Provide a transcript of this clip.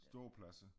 Ståpladser